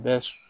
Bɛ